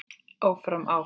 Áfram, áfram.